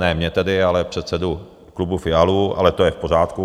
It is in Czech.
Ne mě tedy, ale předsedu klubu Fialu, ale to je v pořádku.